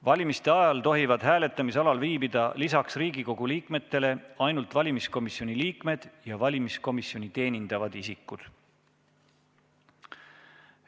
Valimise ajal tohivad hääletamisalal viibida lisaks Riigikogu liikmetele ainult valimiskomisjoni liikmed ja valimiskomisjoni teenindavad isikud.